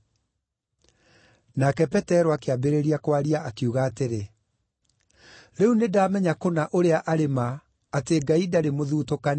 Nake Petero akĩambĩrĩria kwaria, akiuga atĩrĩ: “Rĩu nĩndamenya kũna ũrĩa arĩ ma atĩ Ngai ndarĩ mũthutũkanio.